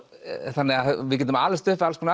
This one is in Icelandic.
þannig að við getum alist upp við alls konar